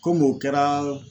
Kom'o kɛra